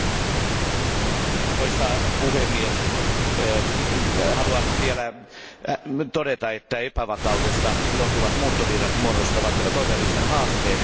Arvoisa puhemies, haluan vielä todeta, että epävakaudesta johtuvat muuttovirrat muodostavat todellisen haasteen Euroopan unionille.